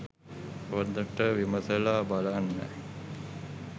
හොඳට විමසලා බලන්න